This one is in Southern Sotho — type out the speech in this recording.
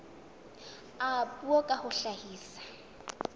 a puo ka ho hlahisa